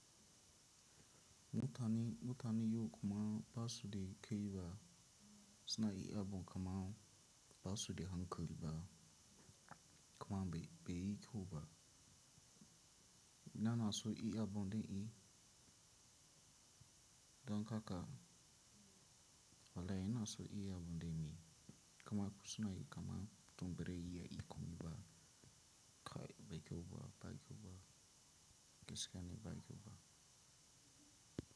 Mutane, mutane yau kuma ba su da kiba, suna iya abun kama, ba su da hankali ba, kama bai, bai yi ƙyau ba. Na nasu iya abun dai i, don haka, walai ina so iya abun dai mi, kama suna yi kama, tun bara ya yi komi ba, kai bai ƙyau ba, bai kyau ba, gaskiya ne bai ƙyau ba.